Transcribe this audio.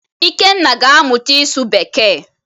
Ikenna ga-amụta ịsụ bekee.